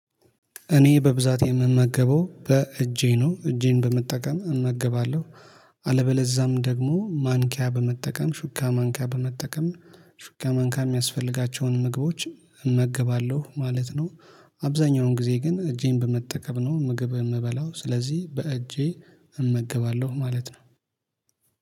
እኔ በብዛት የምመገበው በእጄ ነው እጄን በመጠቀም እመገባለሁ። አለበለዛም ደግሞ ማንኪያ በመጠቀም ሹካ ማንኪያ በመጠቀም ሹካ ማንኪያ የሚያስፈልጋቸውን ምግቦችን እመገባለሁ ማለት ነው። አብዛኛውን ጊዜ ግን እጄን በመጠቀም ነው ምግብ የምበላው ስለዚህ በእጄ እመገባለሁ ማለት ነው።